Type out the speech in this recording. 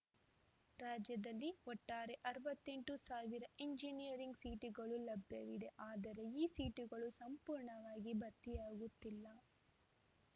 ರಾಜ್ಯದಲ್ಲಿ ಒಟ್ಟಾರೆ ಅರವತ್ತೆಂಟು ಎಂಜಿನಿಯರಿಂಗ್‌ ಸೀಟುಗಳು ಲಭ್ಯವಿವೆ ಆದರೆ ಈ ಸೀಟುಗಳು ಸಂಪೂರ್ಣವಾಗಿ ಭರ್ತಿಯಾಗುತ್ತಿಲ್ಲ